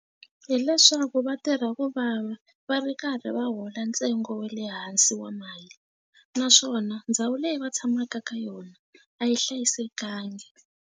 Hileswaku va tirha ku vava va ri karhi va hola ntsengo wa le hansi wa mali naswona ndhawu leyi va tshamaka ka yona a yi hlayisekangi.